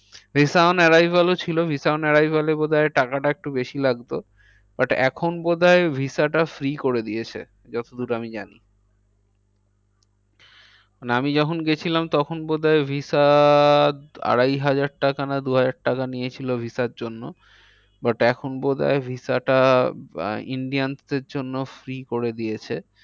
মানে আমি যখন গিয়েছিলাম তখন বোধ হয় visa আড়াই হাজার টাকা না দু হাজার টাকা নিয়েছিল visa র জন্য but এখন বোধ হয় visa টা আহ Indians দের জন্য free করে দিয়েছে।